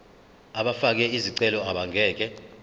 abafake izicelo abangeke